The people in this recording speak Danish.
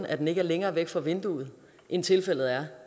at den ikke er længere væk fra vinduet end tilfældet er